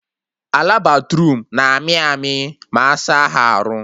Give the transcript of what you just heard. Ala Bathroom na-amị amị ma asa ha arụ